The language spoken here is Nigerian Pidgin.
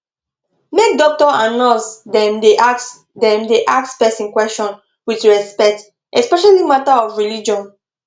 make doctor and nurse dem da ask dem da ask person question with respect especially matter of religion